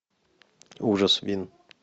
ужас вин